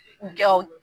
Gawo